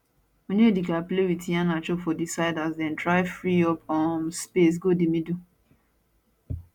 onyedika play wit iheanacho for di side as dem try free up um space go di middle